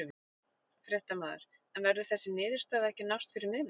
Fréttamaður: En verður þessi niðurstaða ekki að nást fyrir miðnætti?